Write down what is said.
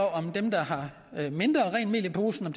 om dem der har mindre rent mel i posen